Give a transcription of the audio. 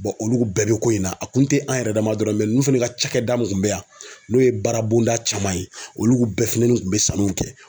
olu bɛɛ bɛ ko in na a kun tɛ an yɛrɛ dama dɔrɔn ninnu fana ka cakɛda mun bɛ yan n'o ye baara bonda caman ye olu bɛɛ fini kun bɛ sanuw kɛ.